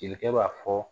Jelikɛ b'a fɔ